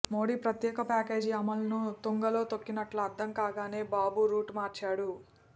మోడీ ప్రత్యేక ప్యాకేజీ అమలును తుంగలో తొక్కినట్లు అర్థం కాగానే బాబు రూటు మార్చాడు